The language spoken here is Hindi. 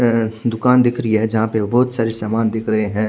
अ- दूकान दिख रही है जहा पर बोहोत सारे सामान दिख रहे है।